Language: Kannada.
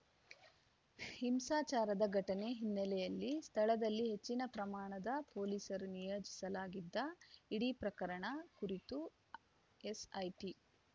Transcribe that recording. ಹಿಂಸಾಚಾರದ ಘಟನೆ ಹಿನ್ನೆಲೆಯಲ್ಲಿ ಸ್ಥಳದಲ್ಲಿ ಹೆಚ್ಚಿನ ಪ್ರಮಾಣದ ಪೊಲೀಸರ ನಿಯೋಜಿಸಲಾಗಿದ್ದ ಇಡೀ ಪ್ರಕರಣದ ಕುರಿತು ಎಸ್‌ಐಟಿ